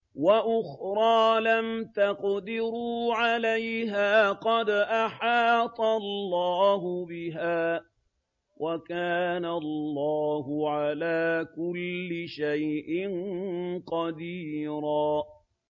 وَأُخْرَىٰ لَمْ تَقْدِرُوا عَلَيْهَا قَدْ أَحَاطَ اللَّهُ بِهَا ۚ وَكَانَ اللَّهُ عَلَىٰ كُلِّ شَيْءٍ قَدِيرًا